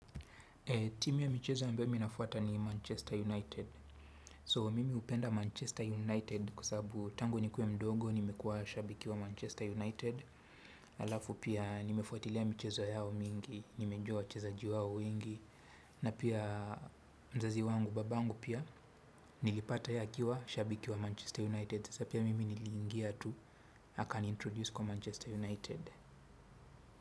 Timu ya michezo ambayo mi nafuata ni Manchester United. So, mimi hupenda Manchester United kwa sababu tangu nikuwe mdogo, nimekuwa shabiki wa Manchester United. Alafu pia nimefuatilia michezo yao mingi, nimejua wachezaji wao wengi. Na pia mzazi wangu, baba angu pia, nilipata ye akiwa shabiki wa Manchester United. Sasa pia mimi niliingia tu, akani introduce kwa Manchester United.